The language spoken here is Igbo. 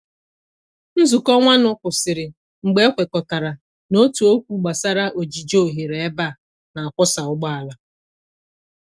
Nzuko nwa nụ kwụsịrị mgbe e kwekọtara n’otu okwu gbasara ojiji oghere ebe a n'akwọsa ụgbọala.